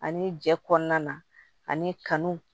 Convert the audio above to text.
Ani jɛ kɔnɔna ani kanu